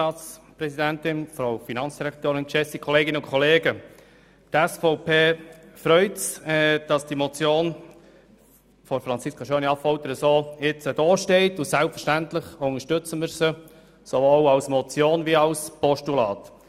Die SVP-Fraktion hat Freude an der Motion von Grossrätin Schöni-Affolter und wird diese selbstverständlich unterstützen, sowohl als Motion als auch als Postulat.